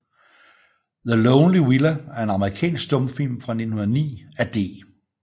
The Lonely Villa er en amerikansk stumfilm fra 1909 af D